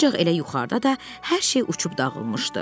Ancaq elə yuxarıda da hər şey uçub dağılmışdı.